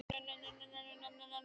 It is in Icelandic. Ég er búinn að gleyma öllu!